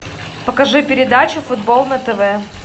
покажи передачу футбол на тв